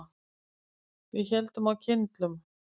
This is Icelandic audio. Við héldum á kyndlum.